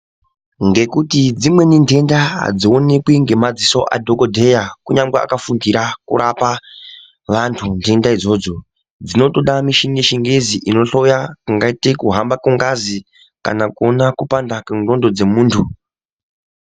Ngekuti dzimweni ntenda adzionekwi ngemadziso adhokodheya ,kunyangwe akafundira kurapa vantu ntenda idzodzo. Dzinotoda mishini yechingezi inohloya, kungaite kuhamba kengazi, kana kona kupanda kendxondo dzemuntu.